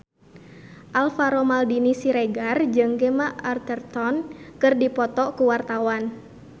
Alvaro Maldini Siregar jeung Gemma Arterton keur dipoto ku wartawan